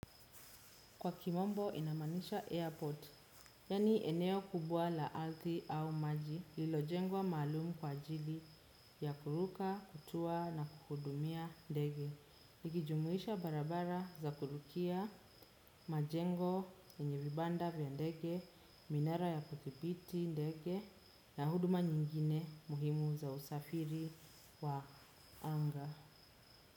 Kwa kimombo inamaanisha airport, yani eneo kubwa la ardhi au maji, lililo jengwa maalumu kwa ajili ya kuruka, kutua na kuhudumia ndege. Likijumuisha barabara za kurukia majengo yenye vibanda vya ndege, minara ya kudhibiti ndege na huduma nyingine muhimu za usafiri wa anga.